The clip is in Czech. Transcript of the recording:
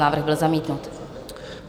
Návrh byl zamítnut.